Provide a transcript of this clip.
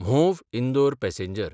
Mhow Indore passenger